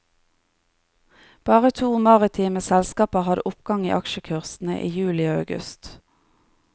Bare to maritime selskaper hadde oppgang i aksjekursen i juli og august.